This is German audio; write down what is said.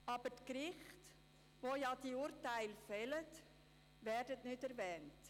Aber die Gerichte, die die Urteile fällen, sind nicht erwähnt.